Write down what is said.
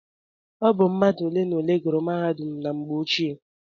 Ọ bụ mmadụ ole na ole gùrù mahadum na mgbe ochie.